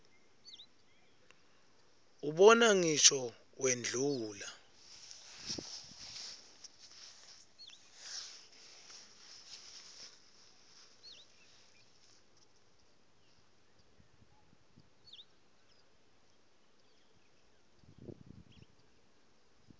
ubona ngisho wendlula